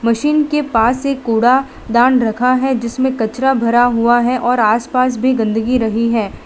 Machine के पास एक कूड़ा दान रखा है जिसमें कचरा भरा हुआ है और आसपास भी गंदगी रही है।